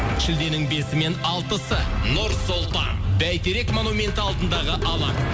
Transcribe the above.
шілденің бесі мен алтысы нұр сұлтан байтерек монументі алдындағы алаң